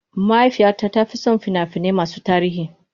Mahaifiyata ta fi son fina-finai masu tarihi.